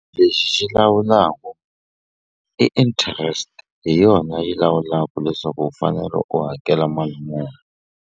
Lexi xi lawulaku i interest hi yona yi lawulaku leswaku u fanele u hakela mali muni.